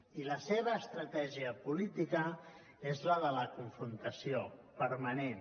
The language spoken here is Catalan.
i la seva estratègia política és la de la confrontació permanent